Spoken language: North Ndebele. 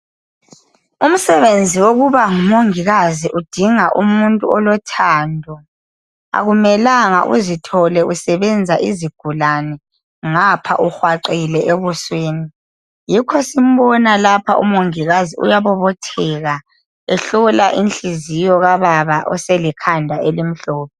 Umsebenzi wokuba ngumongikazi udinga umuntu olothando. Akumelanga uzithole usebenza izigulani ngapha uhwaqile ebusweni. Yikho simbona lapha umongikazi uyabobotheka ehlola inhliziyo kababa oselekhanda elimhlophe.